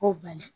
O bali